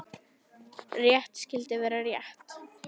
Rétt skyldi vera rétt.